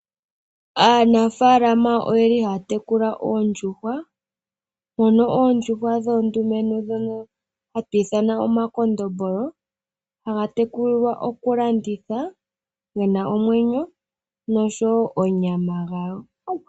Aanafaalama oye li haya tekula oondjuhwa , oondjuhwa dhoondumentu ndhoka haku tiwa omakondombolo , haga tekulilwa okulandithwa gena omwenyo noshowoo onyama yayo.